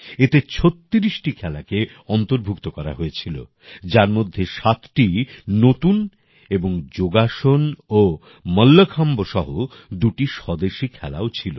এতে ৩৬টি খেলাকে অন্তর্ভুক্ত করা হয়েছিল যার মধ্যে সাতটি নতুন এবং যোগাসন ও মল্লখম্ব সহ দুটি স্বদেশী খেলাও ছিল